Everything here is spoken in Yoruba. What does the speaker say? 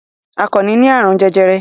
Àkànnì ní àrùn jẹjẹrẹ.